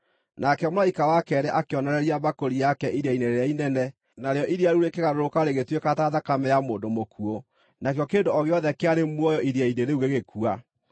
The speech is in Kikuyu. Nake mũraika wa keerĩ akĩonoreria mbakũri yake iria-inĩ rĩrĩa inene, narĩo iria rĩu rĩkĩgarũrũka rĩgĩtuĩka ta thakame ya mũndũ mũkuũ, nakĩo kĩndũ o gĩothe kĩarĩ muoyo iria-inĩ rĩu gĩgĩkua.